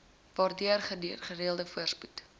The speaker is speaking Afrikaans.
waardeur gedeelde voorspoed